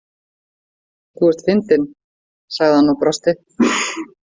Þú ert fyndin, sagði hann og brosti.